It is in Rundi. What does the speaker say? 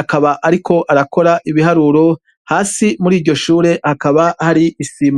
akaba ariko arakora ibiharuro, hasi muri iryo shure hakaba hari isima.